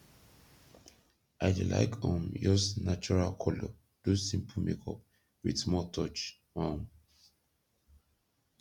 i dey laik um yus nachoral kolor do simpol makeup wit smoll touch um